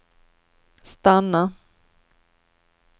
stanna